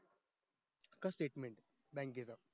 फक्त statement blank गेलं